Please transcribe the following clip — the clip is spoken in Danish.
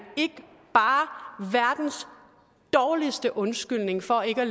ikke bare verdens dårligste undskyldning for ikke at